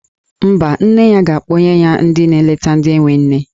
Mba, nne ya ga-akpọnye ya ndị na-eleta ndị enwe nne.